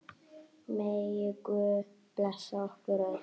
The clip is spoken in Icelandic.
Megi Guð blessa ykkur öll.